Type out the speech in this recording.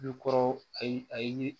I kɔrɔ ayi ayi